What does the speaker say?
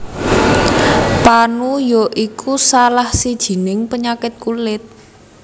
Panu ya iku salah sijining penyakit kulit